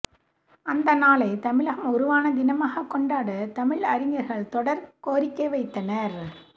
அந்த நாளை தமிழகம் உருவான தினமாக கொண்டாட தமிழறிஞர்கள் தொடர் கோரிக்கை வைத்தனர்